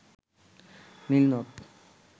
নীল নদ